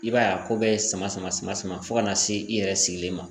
I b'a ye a ko bɛ sama sama sama sama fɔ ka na se i yɛrɛ sigilen ma.